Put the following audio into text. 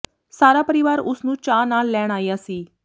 ਸਾਰਾ ਪਰਿਵਾਰ ਉਸ ਨੂੰ ਚਾਅ ਨਾਲ ਲੈਣ ਆਇਆ ਸੀ